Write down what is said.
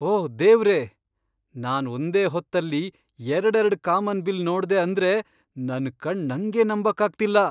ಓಹ್ ದೇವ್ರೇ, ನಾನ್ ಒಂದೇ ಹೊತ್ತಲ್ಲಿ ಎರ್ಡೆರಡ್ ಕಾಮನ್ಬಿಲ್ಲ್ ನೋಡ್ದೆ ಅಂದ್ರೆ ನನ್ ಕಣ್ಣ್ ನಂಗೇ ನಂಬಕ್ಕಾಗ್ತಿಲ್ಲ!